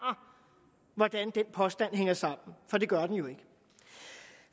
hvordan den påstand hænger sammen for det gør den jo ikke